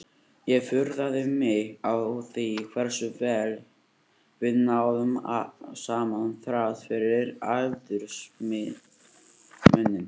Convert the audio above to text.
Ég furðaði mig á því hversu vel við náðum saman þrátt fyrir aldursmuninn.